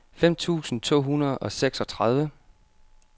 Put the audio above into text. fem tusind to hundrede og seksogtredive